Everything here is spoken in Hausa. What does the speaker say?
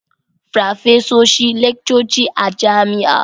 Farfesoshi laccoci a jami'a